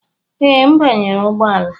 Ee, m banyere ụgbọ ala.